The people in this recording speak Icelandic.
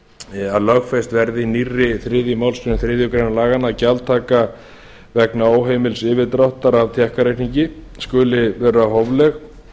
að lögfest verði í nýrri þriðju málsgrein þriðju grein laganna að gjaldtaka vegna óheimils yfirdráttar af tékkareikningi skuli vera hófleg